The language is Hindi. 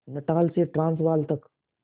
नटाल से ट्रांसवाल तक